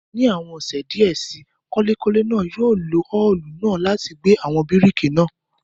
Ní àwọn ọ̀sẹ̀ díẹ̀ síi, kọ́lékọ́lé náà yóò lo òòlù náà láti gbẹ́ àwọn bíríkì náà.